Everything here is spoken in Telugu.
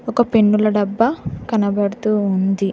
ఒక పెన్నుల డబ్బా కనబడుతూ ఉంది.